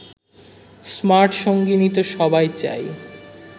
smart সঙ্গিনী তো সবাই চায়